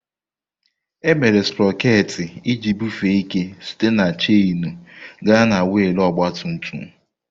Emere Sproket iji bufee ike site na chainu gaa na wiil ọgba tum tum.